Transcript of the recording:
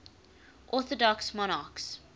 orthodox monarchs